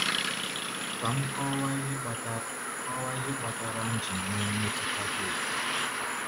Kà m kọwaa ihe kpatara kọwaa ihe kpatara m ji nwee mmetụta dị otú a.